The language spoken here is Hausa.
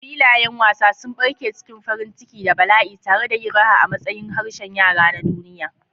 Filayen wasa sun barke cikin farin ciki da bala'i, tare da yin raha a matsayin harshen yara na duniya.